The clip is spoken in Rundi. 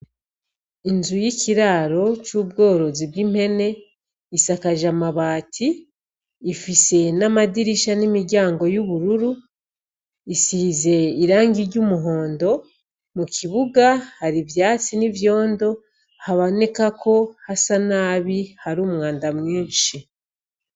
Inzu y'kiraro c'ubworozi bw'impene isakaje amabati, ifise n'amadirisha n'imiryango y'ubururu, isize irangi ry'umuhondo, mu kibuga hari ivyatsi n'ivyondo haboneka ko hasa nabi, hari umwanda mwinshi.